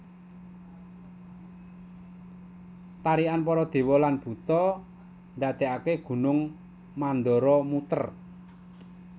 Tarikan para dewa lan buta ndadekaké Gunung Mandara muter